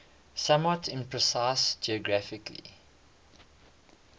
somewhat imprecise geographical